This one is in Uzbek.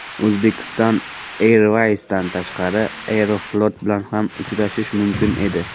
Uzbekistan airways’dan tashqari ‘Aeroflot’ bilan ham uchish mumkin edi.